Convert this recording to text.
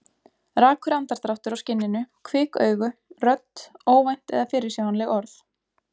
Rakur andardráttur á skinninu, kvik augu, rödd, óvænt eða fyrirsjáanleg orð.